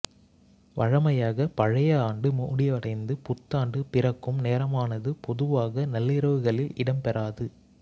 வழமையாக பழைய ஆண்டு முடிவடைந்து புத்தாண்டு பிறக்கும் நேரமானது பொதுவாக நள்ளிரவுகளில் இடம்பெறாது